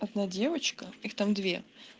одна девочка их там две